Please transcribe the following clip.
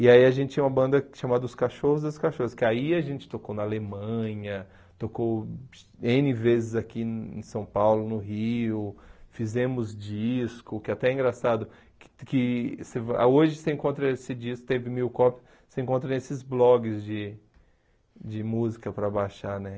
E aí a gente tinha uma banda chamada Os Cachorros das Cachorras, que aí a gente tocou na Alemanha, tocou ene vezes aqui em São Paulo, no Rio, fizemos disco, que até é engraçado, que que você vai que hoje você encontra esse disco, teve mil cópias, você encontra nesses blogs de de música para baixar, né?